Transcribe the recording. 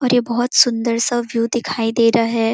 और ये बहुत सुंदर सा व्यू दिखाई दे रहा है।